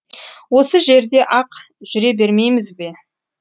осы жерде ақ жүре бермейміз бе